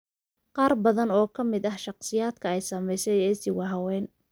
Qaar badan oo ka mid ah shakhsiyaadka ay saameysay IC waa haween.